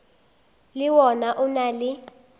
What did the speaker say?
le wona o na le